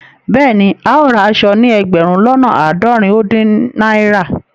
Bẹẹni, ào rá àṣọ̀ ní ẹgbérùn lọ́nà aádọ́rìn ó dìn naira.